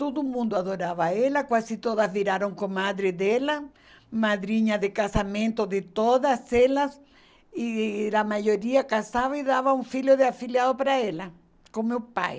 Todo mundo adorava ela, quase todas viraram comadre dela, madrinha de casamento de todas elas, e a maioria casava e dava um filho de afiliado para ela, com meu pai.